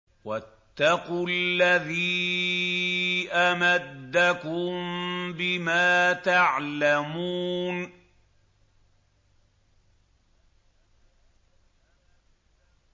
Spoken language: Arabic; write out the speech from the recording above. وَاتَّقُوا الَّذِي أَمَدَّكُم بِمَا تَعْلَمُونَ